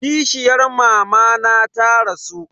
Kishiyar mamana ta rasu.